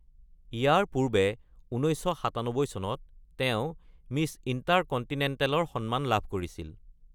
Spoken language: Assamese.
ইয়াৰ পূৰ্বে, ১৯৯৭ চনত তেওঁ মিছ ইন্টাৰকন্টিনেণ্টেলৰ সন্মান লাভ কৰিছিল ।